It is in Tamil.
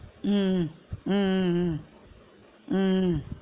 உம் உம் உம் உம் உம்